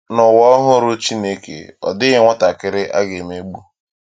N’ụwa ọhụrụ Chineke, ọ dịghị nwatakịrị a ga-emegbu.